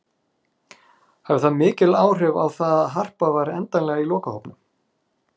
Hafði það mikil áhrif á það að Harpa var endanlega í lokahópnum?